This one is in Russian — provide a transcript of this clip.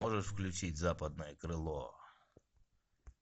можешь включить западное крыло